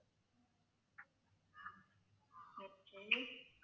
okay